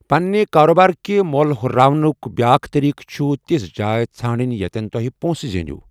پَننہِ کارٕبارکہِ مول ہٗرراونٗك بیاکھ طٔریٖقہٕ چُھ تِژھہٕ جایہ ژھنڈنہِ ییٛتٮ۪ن تُہُہِ پونٛسہٕ زینِیو٘ ۔